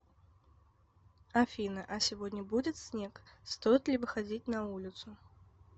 афина а сегодня будет снег стоит ли выходить на улицу